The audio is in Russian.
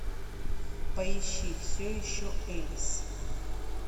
поищи все еще элис